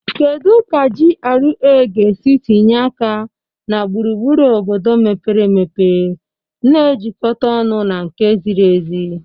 Kedu ka GRA ga-esi tinye aka na gburugburu obodo mepere emepe na-ejikọta ọnụ na nke ziri ezi?